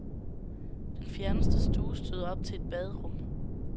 Den fjerneste stue støder op til et baderum.